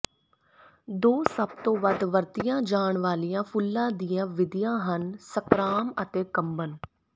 ਦੋ ਸਭ ਤੋਂ ਵੱਧ ਵਰਤਿਆ ਜਾਣ ਵਾਲੀਆਂ ਫੁੱਲਾਂ ਦੀਆਂ ਵਿਧੀਆਂ ਹਨ ਸਕ੍ਰਾਮ ਅਤੇ ਕੰਬਨ